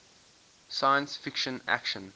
science fiction action